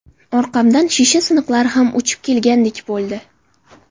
Orqamdan shisha siniqlari ham uchib kelgandek bo‘ldi.